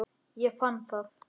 Ég fann það!